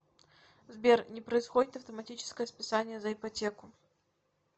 сбер не происходит автоматическое списание за ипотеку